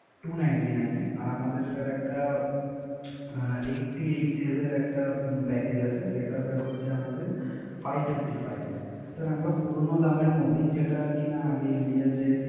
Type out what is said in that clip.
Two ninty nine এ। আর আমাদের Sir একটা Eighty eight Days এর একটা Package আছে সেটা Sir হচ্ছে Five fifty five এ